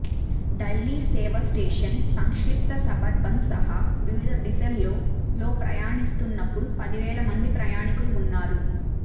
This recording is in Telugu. డైలీ సేవ స్టేషన్ సంక్లిష్ట సబర్బన్ సహా వివిధ దిశల్లో లో ప్రయాణిస్తున్నప్పుడు పది వేల మంది ప్రయాణికులు ఉన్నారు